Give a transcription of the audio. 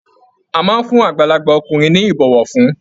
A máa n fún àgbàlagbà ọkùnrin ní ibọwọfún.